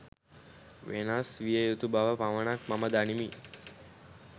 වෙනස් විය යුතු බව පමණක් මම දනිමි